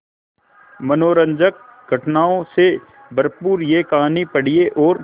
मनोरंजक घटनाओं से भरपूर यह कहानी पढ़िए और